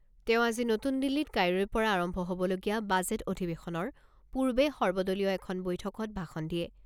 তেওঁ আজি নতুন দিল্লীত কাইলৈৰ পৰা আৰম্ভ হ'বলগীয়া বাজেট অধিৱেশনৰ পূৰ্বে সৰ্বদলীয় এখন বৈঠকত ভাষণ দিয়ে।